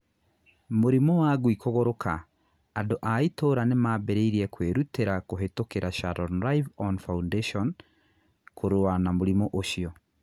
Mũrimũ wangui kũgũrũka: Andũ a itũũra nimambĩrĩrie kwĩrutĩra kũhĩtũkĩra Sharon live-on foundation kũrũa na mũrimũ ũcio.